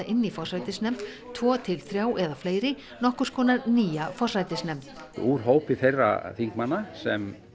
inn í forsætisnefnd tvo til þrjá eða fleiri nokkurs konar nýja forsætisnefnd úr hópi þeirra þingmanna sem